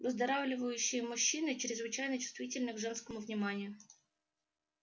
выздоравливающие мужчины чрезвычайно чувствительны к женскому вниманию